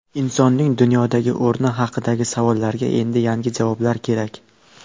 Insonning dunyodagi o‘rni haqidagi savollarga endi yangi javoblar kerak.